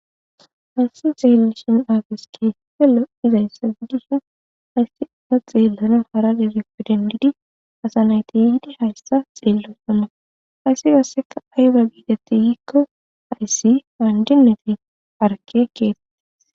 hayssi xeelashin aafeske felo izayssa giddishin hayseka xeellona hara degefe dendidi asa nayti yiidi hayssa xeello ama hayssi qasseka ayba biidati yiikko hayssi haandinefi arke keet